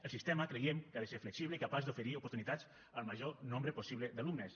el sistema creiem que ha de ser flexible i capaç d’oferir oportunitats al major nombre possible d’alumnes